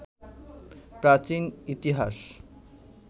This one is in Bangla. প্রাচীন ইতিহাস